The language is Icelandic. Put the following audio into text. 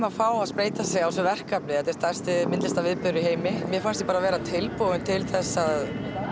að fá að spreyta sig á á þessu verkefni þetta er stærsti myndlistarviðburður í heimi mér fannst ég bara vera tilbúin til að